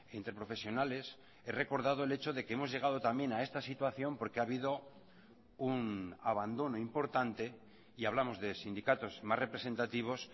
interprofesionales he recordado el hecho de que hemos llegado también a esta situación porque ha habido un abandono importante y hablamos de sindicatos más representativos